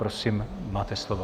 Prosím máte slovo.